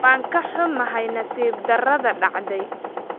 waan ka xumahay nasiib darrada dhacday